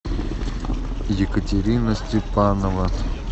екатерина степанова